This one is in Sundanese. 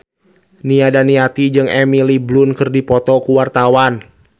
Nia Daniati jeung Emily Blunt keur dipoto ku wartawan